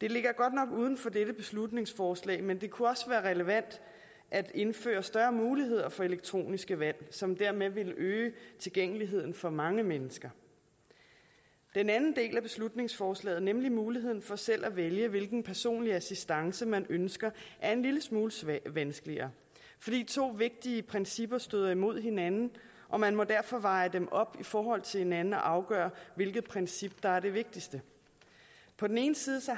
det ligger godt nok uden for dette beslutningsforslag men det kunne også være relevant at indføre større muligheder for elektroniske valg som dermed ville øge tilgængeligheden for mange mennesker den anden del af beslutningsforslaget nemlig muligheden for selv at vælge hvilken personlig assistance man ønsker er en lille smule vanskeligere fordi to vigtige principper støder imod hinanden og man må derfor veje dem op i forhold til hinanden og afgøre hvilket princip der er det vigtigste på den ene side